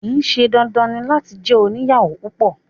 Kìí ṣe dandan ní láti jẹ oniyawo púpọ